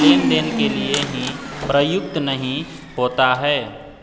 लेनदेन के लिए ही प्रयुक्त नहीं होता है